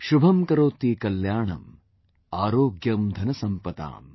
Shubham Karoti Kalyanam, Aarogyam Dhansampadaa